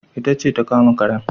Ita ce ta kama karen